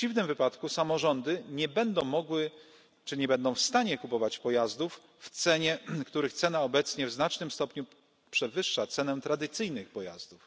W przeciwnym wypadku samorządy nie będą mogły, czy nie będą w stanie, kupować pojazdów, których cena obecnie w znacznym stopniu przewyższa cenę tradycyjnych pojazdów.